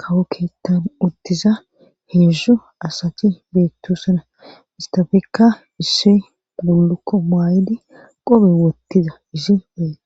kawo keettan uttiza heezdzdu asati beettosana izetafekka issi bullukko maayidi qobe wottiza izi beettes